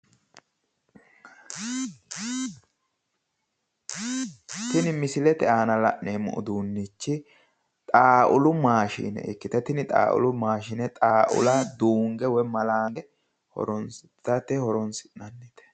Tini misilete aana la'neemmo uduunnichi xawulu maashine ikkite, tini xawulu maashine xawula duunge woyi malaange itate horonssi'nanni.